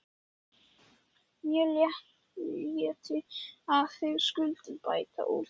Mér létti að þið skylduð bæta úr því.